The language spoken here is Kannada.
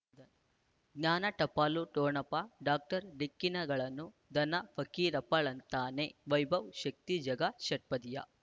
ಜ್ಞಾನ ಟಪಾಲು ಠೊಣಪ ಡಾಕ್ಟರ್ ಢಿಕ್ಕಿ ಣಗಳನು ಧನ ಫಕೀರಪ್ಪ ಳಂತಾನೆ ವೈಭವ್ ಶಕ್ತಿ ಝಗಾ ಷಟ್ಪದಿಯ